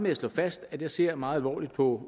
at slå fast at jeg ser meget alvorligt på